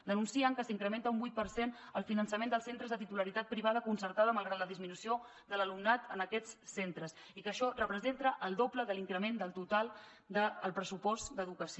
denuncien que s’incrementa un vuit per cent el finançament dels centres de titularitat privada concertada malgrat la disminució de l’alumnat en aquests centres i que això representa el doble de l’increment del total del pressupost d’educació